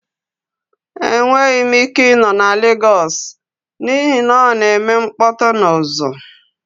Enweghị m ike ịnọ na Legos n'ihi na ọ na-eme mkpọtụ na uzu.